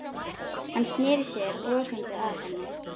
Hann sneri sér brosandi að henni.